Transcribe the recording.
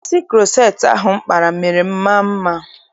Isi kuroceti ahụ m kpara mere m maa mma.